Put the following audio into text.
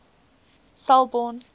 selborne